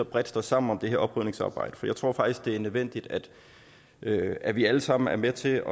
bredt står sammen om det her oprydningsarbejde for jeg tror faktisk det er nødvendigt at at vi alle sammen er med til